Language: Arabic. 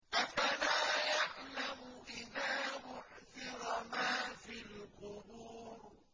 ۞ أَفَلَا يَعْلَمُ إِذَا بُعْثِرَ مَا فِي الْقُبُورِ